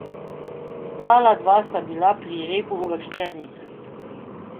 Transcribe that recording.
Ostala dva sta bila pri repu uvrščenih.